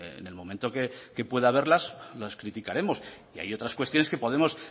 en el momento que pueda haberlas las criticaremos y hay otras cuestiones que podemos